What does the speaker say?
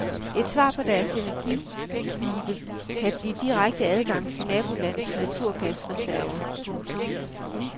Et svar på deres energiknibe kan blive direkte adgang til nabolandets naturgasreserver. punktum